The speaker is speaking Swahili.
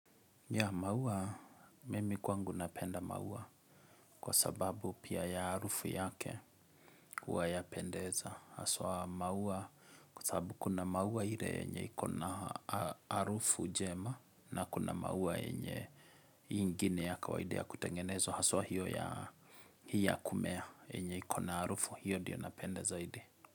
Yeah, maua, mimi kwangu napenda maua kwa sababu pia ya harufu yake huwa yapendeza. Haswa maua, kwa sababu kuna maua ile yenye iko na harufu jema na kuna maua yenye hii ingine ya kawaida ya kutengenezwa. Haswa hiyo ya kumea yenye iko na harufu, hiyo ndiyo napenda zaidi.